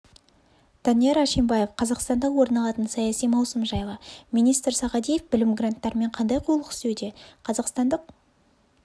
данияр ашимбаев қазақстанда орын алатын саяси маусым жайлы министр сағадиев білім гранттарымен қандай қулық істеуде қазақстандық